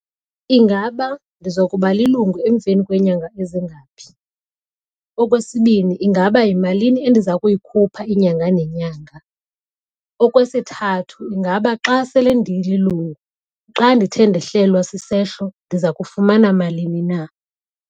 Ingaba ndiza kuba lilungu emveni kweenyanga ezingaphi. Okwesibini, ingaba yimalini endiza kuyikhupha inyanga nenyanga. Okwesithathu, ingaba xa sele ndililungu xa ndithe ndehlewa sisehlo ndiza kufumana malini na.